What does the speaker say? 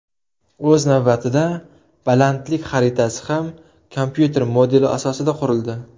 O‘z navbatida, balandlik xaritasi ham kompyuter modeli asosida qurildi.